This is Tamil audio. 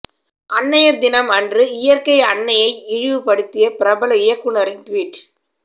அன்னையர் தினம் அன்று இயற்கை அன்னையை இழிவுபடுத்திய பிரபல இயக்குனரின் ட்வீட்